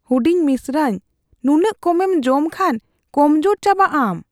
ᱦᱩᱰᱤᱧ ᱢᱤᱥᱨᱟᱧ, ᱱᱩᱱᱟᱹᱜ ᱠᱚᱢᱮᱢ ᱡᱚᱢ ᱠᱷᱟᱱ ᱠᱚᱢᱡᱳᱨ ᱪᱟᱵᱟᱜᱼᱟᱢ ᱾